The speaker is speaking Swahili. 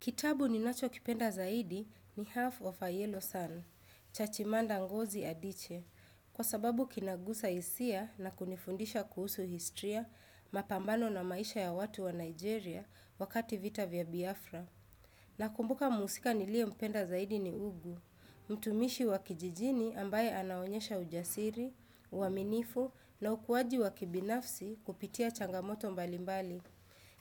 Kitabu ninacho kipenda zaidi ni Half of a Yellow Sun, Chachimanda ngozi Adiche, kwa sababu kinagusa hisia na kunifundisha kuhusu historya mapambano na maisha ya watu wa Nigeria wakati vita vya Biafra. Nakumbuka muhusika niliyempenda zaidi ni Ugu, mtumishi wa kijijini ambaye anaonyesha ujasiri, uaminifu na ukuwaji wa kibinafsi kupitia changamoto mbalimbali.